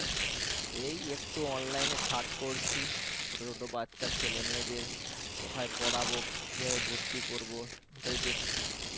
এই একটু online এ search করছি ছোট ছোট বাচ্চা ছেলে মেয়েদের কোথায় পড়াবো কিভাবে ভর্তি করব সেটাই দেখছি